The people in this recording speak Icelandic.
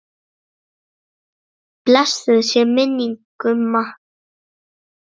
Blessuð sé minning Gumma.